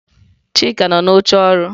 Chika nọ n'oche ọrụ.